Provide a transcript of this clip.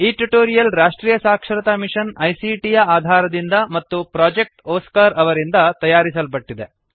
ಈ ಟ್ಯುಟೋರಿಯಲ್ ರಾಷ್ಟ್ರೀಯ ಸಾಕ್ಷರತಾ ಮಿಶನ್ ಐಸಿಟಿ ಯ ಆಧಾರದಿಂದ ಮತ್ತು ಪ್ರೊಜೆಕ್ಟ್ ಒಸ್ಕಾರ್ ಅವರಿಂದ ತಯಾರಿಸಲ್ಪಟ್ಟಿದೆ